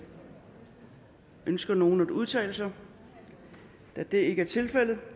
ønsker nogen at udtale sig da det ikke er tilfældet